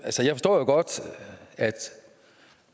og